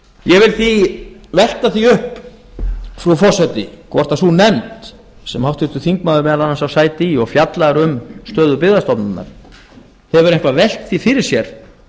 ég vil því velta því upp frú forseti hvort sú nefnd sem háttvirtur þingmaður meðal annars á sæti í og fjallar um stöðu byggðastofnun hefur eitthvað velt því fyrir sér